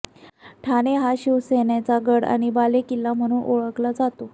ठाणे हा शिवसेनेचा गड आणि बालेकिल्ला म्हणून ओळखला जातो